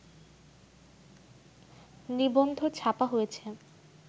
নিবন্ধ ছাপা হয়েছে